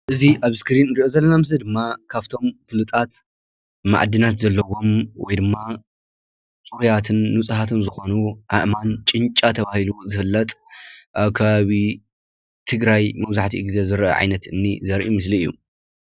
እዚ አብ እስክሪን እንሪኦ ዘለና ምስሊ ድማ ካብቶም ፍሉጣት ማዕድናት ዘለዎም ወይ ድማ ፅሩያትን ንፁሃትን ዝኮኑ አእማን ጭንጫ ተባሂሉ ዝፍለጥ፤ አብ ከባቢ ትግራይ መብዛሕትኡ ግዜ ዝርአ ዓይነት እምኒ ዘርኢ ምስሊ እዩ፡፡